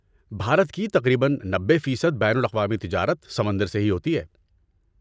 بھارت کی تقریباً نبے فیصد بین الاقوامی تجارت سمندر سے ہی ہوتی ہے